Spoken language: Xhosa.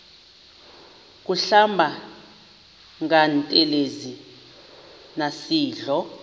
kuhlamba ngantelezi nasidlo